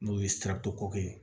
N'o ye ko ye